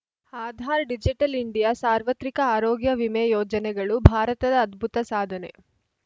Aadhaar digital India ಸಾರ್ವತ್ರಿಕ ಆರೋಗ್ಯ ವಿಮೆ ಯೋಜನೆಗಳು ಭಾರತದ ಅದ್ಭುತ ಸಾಧನೆ